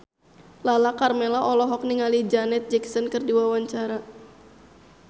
Lala Karmela olohok ningali Janet Jackson keur diwawancara